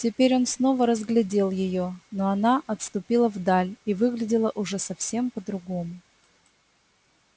теперь он снова разглядел её но она отступила вдаль и выглядела уже совсем по другому